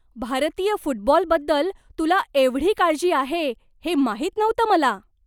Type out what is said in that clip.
भारतीय फुटबॉलबद्दल तुला एवढी काळजी आहे हे माहित नव्हतं मला.